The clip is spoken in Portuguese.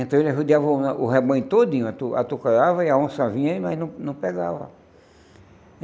Então ele arrodeava o re o rebanho todinho, atu atucarava e a onça vinha e nós não não pegava.